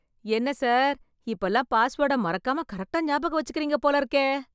என்ன சார் இப்பல்லாம் பாஸ்வேர்டை மறக்காம கரெக்டா ஞாபகம் வச்சுக்கிறீங்க போல இருக்கே